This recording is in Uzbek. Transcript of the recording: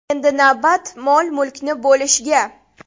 Endi navbat mol-mulkni bo‘lishga.